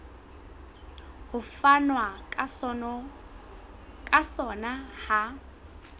ho fanwa ka sona ha